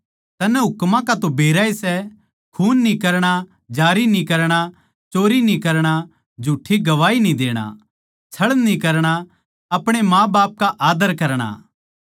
तन्नै हुकमां का तो बेराए सै खून न्ही करणा जारी न्ही करणा चोरी न्ही करणा झूठ्ठी गवाही न्ही देणा छळ न्ही करणा अपणे माँबाप का आद्दर करणा